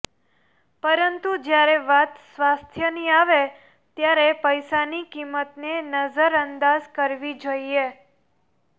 પરંતુ જયારે વાત સ્વાસ્થ્ય ની આવે ત્યારે પૈસાની કિંમત ને નજર અંદાજ કરવી જોઈએ